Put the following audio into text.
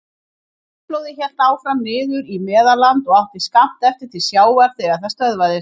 Hraunflóðið hélt áfram niður í Meðalland og átti skammt eftir til sjávar þegar það stöðvaðist.